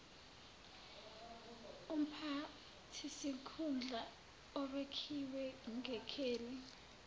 umphathisikhundla obekiwe ngekheli